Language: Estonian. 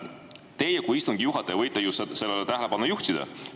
Teie kui istungi juhataja võite ju sellele tähelepanu juhtida.